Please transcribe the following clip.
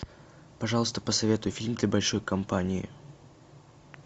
пожалуйста посоветуй фильм для большой компании